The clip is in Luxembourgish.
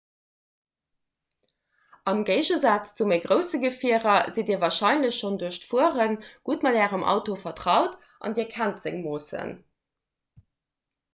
am géigesaz zu méi grousse gefierer sidd dir warscheinlech schonn duerch d'fuere gutt mat ärem auto vertraut an dir kennt seng moossen